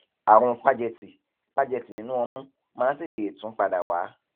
àrùn págẹtì págẹtì nínú ọmú máa ń tètè tún padà wá